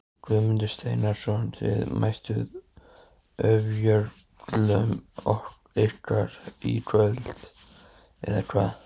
Guðmundur Steinarsson Þið mættuð ofjörlum ykkar í kvöld eða hvað?